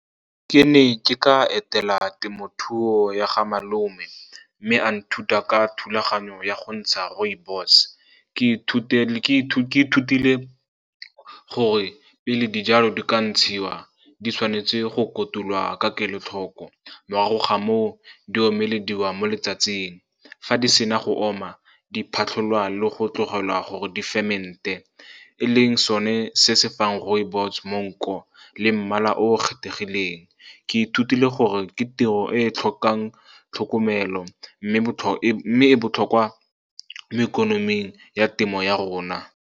Ke ne ke ka etela temothuo ya ga malome, mme a nthuta ka thulaganyo ya go ntsha rooibos. Ke ithutile gore pele dijalo di ka ntshiwa, di tshwanetse go kotulwa ka kelotlhoko. Morago ga moo, di omelediwa mo letsatsing, fa di sena go oma, di phatlholwa le go tlogelwa gore di ferment-e, e leng sone se se fang rooibos monko le mmala o kgethegileng. Ke ithutile gore ke tiro e tlhokang tlhokomelo, mme e botlhokwa mo ikonoming ya temo ya rona.